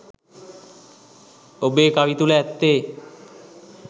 ඔබේ කවි තුළ ඇත්තේ